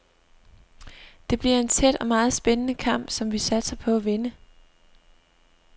Det bliver en tæt og meget spændende kamp, som vi satser på at vinde.